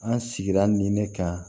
An sigira ni ne kan